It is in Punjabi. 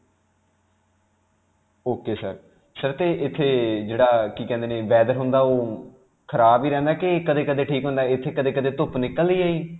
ok sir. sir 'ਤੇ ਇਥੇ ਜਿਹੜਾ ਅਅ ਕੀ ਕਹਿੰਦੇ ਨੇ ਜਿਹੜਾ weather ਹੁੰਦਾ ਉਹ ਖਰਾਬ ਹੀ ਰਹਿੰਦਾ ਕਿ ਕਦੇ-ਕਦੇ ਠੀਕ ਹੁੰਦਾ. ਇਥੇ ਕਦੇ-ਕਦੇ ਧੁੱਪ ਨਿਕਲਦੀ ਹੈ ਜੀ?